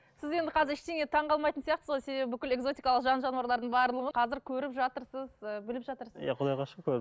сіз енді қазір ештеңеге таңғалмайтын сияқтысыз ғой себебі бүкіл экзотикалық жан жануарлардың барлығын қазір көріп жатырсыз і біліп жатырсыз иә құдайға шүкір